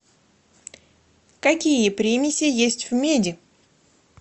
какие примеси есть в меди